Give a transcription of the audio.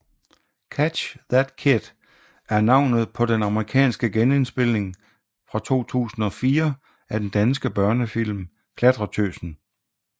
Catch That Kid er navnet på den amerikanske genindspilning fra 2004 af den danske børnefilm Klatretøsen